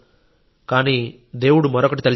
కానీ దేవుడు మరొకటి తలిచాడు